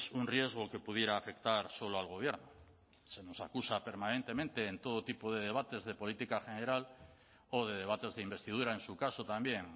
un riesgo que pudiera afectar solo al gobierno se nos acusa permanentemente en todo tipo de debates de política general o de debates de investidura en su caso también